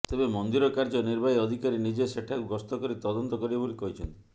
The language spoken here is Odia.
ତେବେ ମନ୍ଦିର କାର୍ଯ୍ୟ ନିର୍ବାହୀ ଅଧିକାରୀ ନିଜେ ସେଠାକୁ ଗସ୍ତ କରି ତଦନ୍ତ କରିବେ ବୋଲି କହିଛନ୍ତି